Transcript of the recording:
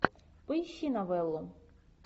поищи новеллу